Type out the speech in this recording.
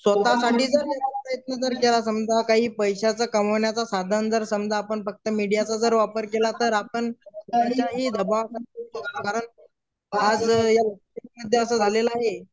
तर समजा काही पैसाच कमवण्याचा साधन जर समझा आपण फक्त मीडियाच जर वापर केला तर आपण आज झालेला आहे.